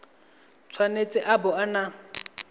tshwanetse a bo a na